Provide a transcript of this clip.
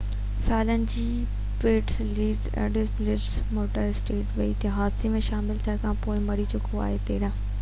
13 سالن جو Peter Lenz Indianapolis motor speedway تي حادثي ۾ شامل ٿيڻ کانپوءِ مري چڪو آهي